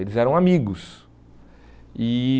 Eles eram amigos. E